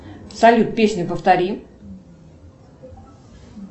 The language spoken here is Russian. салют песню повтори